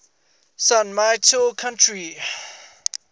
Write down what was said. san mateo county